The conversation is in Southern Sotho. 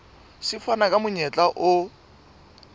se fana ka monyetla o